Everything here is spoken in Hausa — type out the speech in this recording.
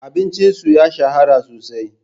Abincin su ya shahara sosai.